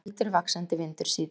Heldur vaxandi vindur síðdegis